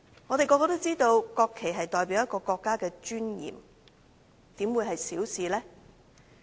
我們所有人也知道，國旗代表國家的尊嚴，怎會是小事呢？